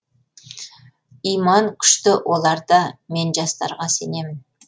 иман күшті оларда мен жастарға сенемін